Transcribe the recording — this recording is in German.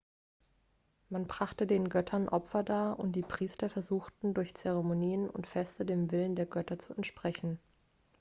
man brachte den göttern opfer dar und die priester versuchten durch zeremonien und feste dem willen der götter zu entsprechen